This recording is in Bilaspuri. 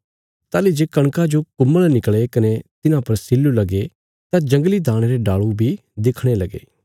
ताहली जे कणका जो कुम्मल़ निकल़े कने तिन्हां पर सिल्लु लगे तां जंगली दाणे रे डाल़ू बी दिखणे लगे